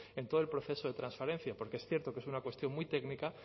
en todo el proceso de transparencia porque es cierto que es una cuestión muy técnica